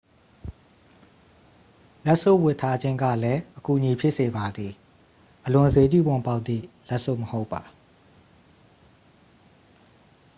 လက်စွပ်ဝတ်ထားခြင်းကလည်း အကူအညီဖြစ်စေပါသည် အလွန်စျေးကြီးပုံပေါက်သည့်လက်စွပ်မဟုတ်ပါ။